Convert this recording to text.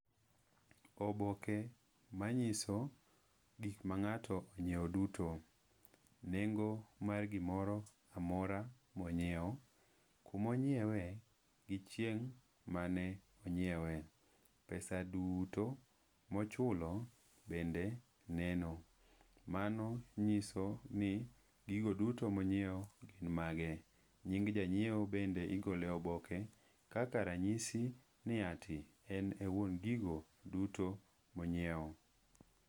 Oboke manyiso gikma ng'ato onyiewo duto. Nengo mar gimoro amora ma onyiewo, kuma onyiewe gi chieng' mane onyiewe, pesa duto ma ochulo bende neno. Mano nyiso ni gigo duto ma onyiewo gin mage. Nying janyiewo bende igolo e oboke kaka ranyisi ni ati en e wuon gigo duto ma onyiewo.